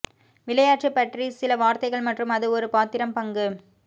விளையாட்டு பற்றி சில வார்த்தைகள் மற்றும் அது ஒரு பாத்திரம் பங்கு